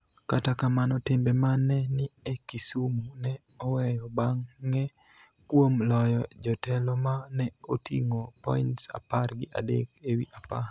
Kata kamano, timbe ma ne ni e Kisumu ne oweyo bang�e kuom loyo jotelo ma ne oting�o points apar gi adek ewi apar.